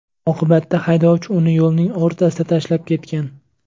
Oqibatda haydovchi uni yo‘lning o‘rtasida tashlab ketgan.